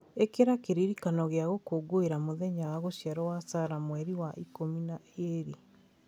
ĩkĩra kĩririkano kia gũkũngũĩra mũthenya wa gũciarwo wa Sarah Mweri wa ikũmi na ĩĩrĩ